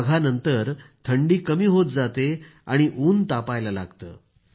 माघानंतरच थंडी कमी होत जाते आणि उन्हं तापायला लागतं